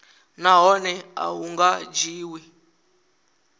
nahone a hu nga dzhiwi